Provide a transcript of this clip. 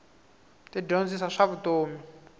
ti dyondzisa swa vutomi